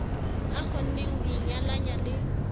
a kgonneng ho inyalanya le